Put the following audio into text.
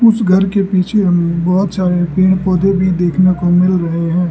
उस घर के पीछे बहोत सारे पेड़ पौधे भी देखने को मिल रहे है।